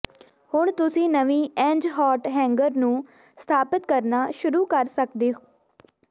ਹੁਣ ਤੁਸੀਂ ਨਵੀਂ ਐਂਜਹਾਟ ਹੈਂਗਰ ਨੂੰ ਸਥਾਪਿਤ ਕਰਨਾ ਸ਼ੁਰੂ ਕਰ ਸਕਦੇ ਹੋ